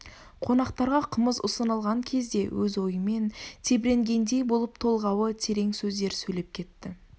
қонақтарға қымыз ұсынылған кезде өз ойымен тебіренгендей болып толғауы терең сөздер сөйлеп кетті